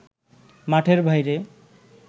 মাঠের বাইরে